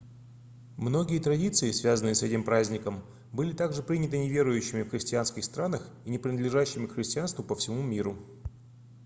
многие традиции связанные с этим праздником были также приняты неверующими в христианских странах и не принадлежащими к христианству по всему миру